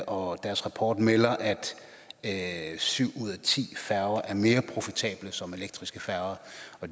og deres rapport melder at syv ud af ti færger er mere profitable som elektriske færger